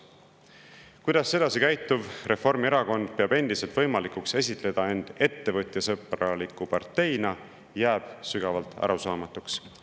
Kuidas sedasi käituv Reformierakond peab endiselt võimalikuks esitleda end ettevõtjasõbraliku parteina, jääb sügavalt arusaamatuks.